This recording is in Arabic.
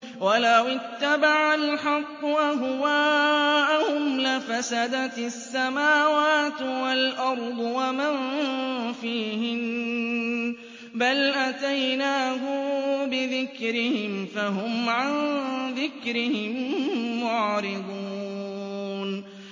وَلَوِ اتَّبَعَ الْحَقُّ أَهْوَاءَهُمْ لَفَسَدَتِ السَّمَاوَاتُ وَالْأَرْضُ وَمَن فِيهِنَّ ۚ بَلْ أَتَيْنَاهُم بِذِكْرِهِمْ فَهُمْ عَن ذِكْرِهِم مُّعْرِضُونَ